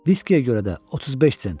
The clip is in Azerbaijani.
Viskiyə görə də 35 sent.